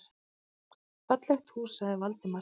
Fallegt hús sagði Valdimar.